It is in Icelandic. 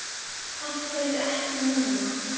Af hverju ekki núna?